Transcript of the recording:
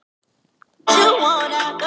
Hvaða hringing ert þú?